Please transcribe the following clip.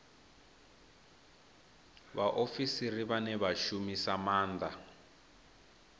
vhaofisiri vhane vha shumisa maanda